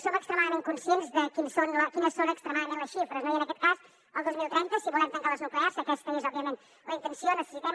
som extremadament conscients de quines són extremadament les xifres no i en aquest cas el dos mil trenta si volem tancar les nuclears que aquesta és òbviament la intenció necessitem